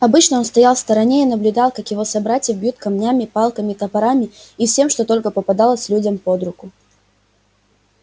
обычно он стоял в стороне и наблюдал как его собратьев бьют камнями палками топорами и всем что только попадалось людям под руку